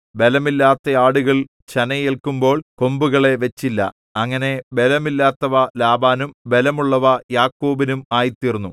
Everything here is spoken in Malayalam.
ബലമില്ലാത്ത ആടുകൾ ചനയേല്ക്കുമ്പോൾ കൊമ്പുകളെ വച്ചില്ല അങ്ങനെ ബലമില്ലാത്തവ ലാബാനും ബലമുള്ളവ യാക്കോബിനും ആയിത്തീർന്നു